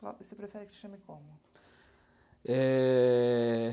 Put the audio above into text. Você prefere que te chame como? É...